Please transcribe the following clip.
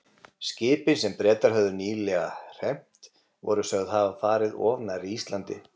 Skipin, sem Bretar höfðu nýlega hremmt, voru sögð hafa farið of nærri Íslandi.